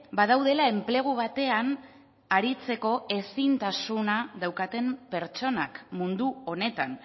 badaudela enplegu batean aritzeko ezintasuna daukaten pertsonak mundu honetan